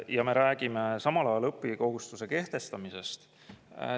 Ja samal ajal me räägime õppimiskohustuse kehtestamisest.